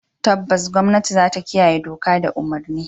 Tabbas gwamnati zata kiyaye doka da umurni.